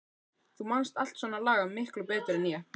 Þú manst allt svona lagað miklu betur en ég.